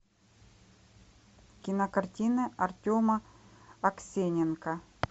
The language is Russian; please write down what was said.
кино картина артема аксененко